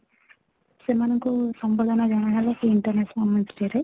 ସେମାନେ ଙ୍କୁ ସମ୍ବୋଧନ ଜଣା ହେଲା ସେ international women's day ରେ